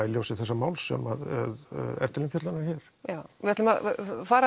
í ljósi þessa máls sem er til umfjöllunar hér við ætlum að fara